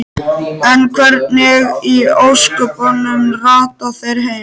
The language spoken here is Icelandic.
En hvernig í ósköpunum rata þær heim?